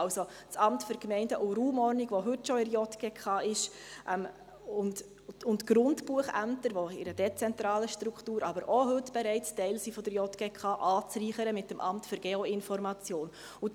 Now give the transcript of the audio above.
also das Amt für Gemeinden und Raumordnung (AGR), das heute schon in der JGK ist, und die Grundbuchämter, die in einer dezentralen Struktur, aber heute auch schon Teil der JGK sind, anzureichern mit dem Amt für Geoinformation (AGI).